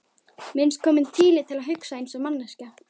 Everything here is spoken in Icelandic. Mér finnst kominn tími til að ég hugsi einsog manneskja.